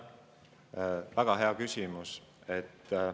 väga hea küsimus.